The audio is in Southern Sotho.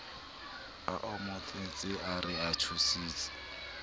a amohetseng a re thusitse